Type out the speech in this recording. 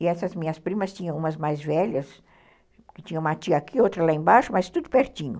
E essas minhas primas tinham umas mais velhas, que tinha uma tia aqui, outra lá embaixo, mas tudo pertinho.